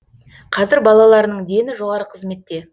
қазір балаларының дені жоғары қызметте